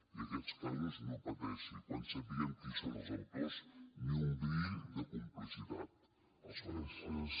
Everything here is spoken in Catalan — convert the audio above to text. i aquests casos no pateixi quan sapiguem qui són els autors ni un bri de complicitat els farem fora